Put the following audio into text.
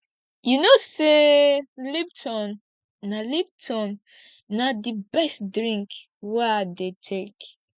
you know sey lipton na lipton na di best drink wey i dey take